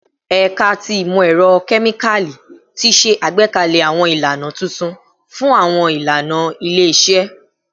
Ẹka ti Imọ-ẹrọ Kemikali ti ṣe agbekalẹ awọn ilana tuntun fun awọn ilana ile-iṣẹ